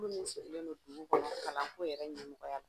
Kulu min sigilen don dugu kɔnɔ kalanko yɛrɛ ɲɛmɔgɔya